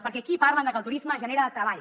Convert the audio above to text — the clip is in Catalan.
perquè aquí parlen que el turisme genera treball